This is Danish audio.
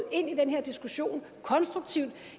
ind i den her diskussion